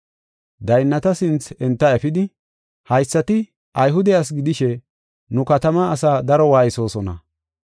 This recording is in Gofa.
Daynnata sinthe enta efidi, “Haysati Ayhude asi gidishe nu katamaa asaa daro waaysosona.